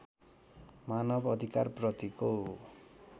मानव अधिकारप्रतिको